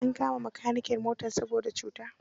An kama makaniken motar saboda cuta.